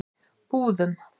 Búðum